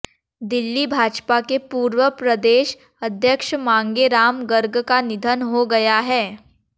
दिल्ली भाजपा के पूर्व प्रदेश अध्यक्ष मांगे राम गर्ग का निधन हो गया है